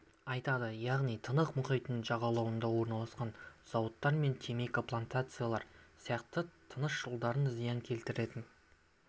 айтады яғни тынық мұхитының жағалауында орналасқан зауыттар мен темекі плантациялары сияқты тыныс жолдарына зиян келтіретін